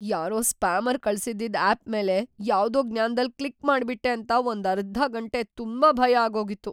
ಯಾರೋ ಸ್ಪ್ಯಾಮರ್‌ ಕಳ್ಸಿದ್ದಿದ್‌ ಆಪ್‌ ಮೇಲೆ ಯಾವ್ದೋ ಜ್ಞಾನ್ದಲ್ಲ್ ಕ್ಲಿಕ್‌ ಮಾಡ್ಬಿಟ್ಟೆ ಅಂತ ಒಂದರ್ಧ ಗಂಟೆ ತುಂಬಾ ಭಯ ಆಗೋಗಿತ್ತು.